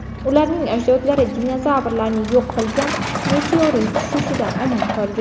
Ularning ajdodlari dinozavrlarni yo‘q qilgan meteorit tushishidan omon qolgan.